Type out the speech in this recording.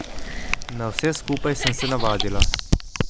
Na vse skupaj sem se navadila.